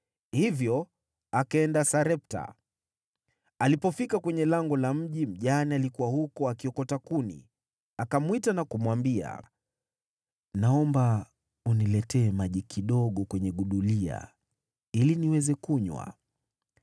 Hivyo akaenda Sarepta. Alipofika kwenye lango la mji, mjane alikuwa huko akiokota kuni. Akamwita na kumwambia, “Naomba uniletee maji kidogo kwenye gudulia ili niweze kunywa.”